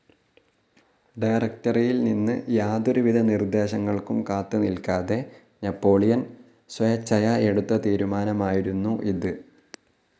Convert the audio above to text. ഡയറക്ടറിയിൽ നിന്ന് യാതൊരു വിധ നിർദ്ദേശങ്ങൾക്കും കാത്ത് നിൽക്കാതെ നാപ്പോളിയൻ സ്വേച്ഛയാ എടുത്ത തീരുമാനമായിരുന്നു ഇത്.